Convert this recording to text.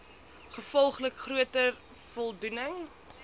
gevolglik groter voldoening